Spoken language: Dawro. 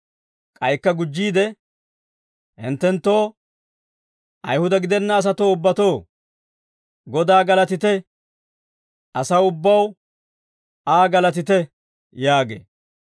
K'aykka gujjiide, «Hinttenttoo, Ayihuda gidenna asatoo ubbatoo, Godaa galatite; asaw ubbaw, Aa galatite» yaagee.